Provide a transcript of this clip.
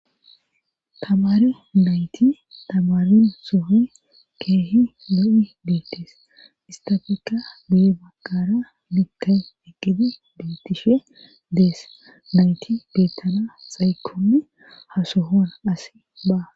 Tabare dayti tabaren sohi keehi lo'i beettees istafikka duye baqara bikka eqqidi beettishe dees dayti beettana xaykoni hasohon asi ba.